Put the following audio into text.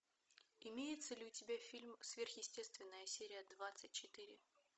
имеется ли у тебя фильм сверхъестественное серия двадцать четыре